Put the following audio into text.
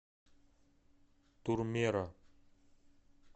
турмеро